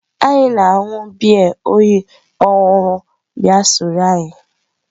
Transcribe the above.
Anyị na-aṅụ biya oyi kpọnwụrụ bịa sonyere anyị.